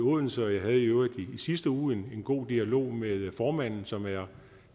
odense jeg havde i øvrigt i sidste uge en god dialog med formanden som er